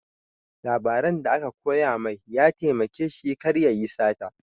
Labaran da aka koya mai ya taimake shi kar yayi sata